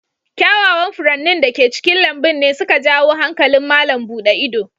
Kyawawan furannin da ke cikin lambun ne su ka jawo hankalin malam buɗe ido.